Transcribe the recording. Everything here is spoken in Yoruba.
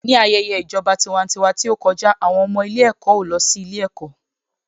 Ní ayẹyẹ ìjọba tiwantiwa tí ó kọjá, àwọn ọmọ ilé-ẹ̀kọ́ ò lọ sí ilé-ẹ̀kọ́.